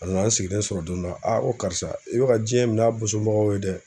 A nana n sigilen sɔrɔ don dɔ la ko karisa i be ka diɲɛ min'a bosonbagaw ye dɛ.